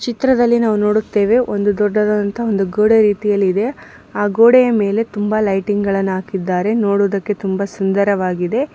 ಚಿತ್ರದಲ್ಲಿ ನಾವು ನೋಡುತ್ತೇವೆ ಒಂದು ದೊಡ್ಡದಾದ ಒಂದು ಗೋಡೆ ರೀತಿಯಲ್ಲಿದೆ ಆ ಗೋಡೆಯ ಮೇಲೆ ತುಂಬಾ ಲೈಟಿಂಗ್ ಗಳನ್ನು ಹಾಕಿದ್ದಾರೆ ನೋಡುವುದಕ್ಕೆ ತುಂಬಾ ಸುಂದರವಾಗಿದೆ.